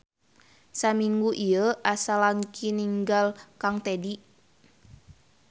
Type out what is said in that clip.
Samingu ieu asa langki ningal kang Tedy.